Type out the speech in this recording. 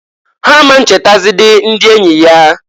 Ha a ma nchetazidi ndi enyi ya.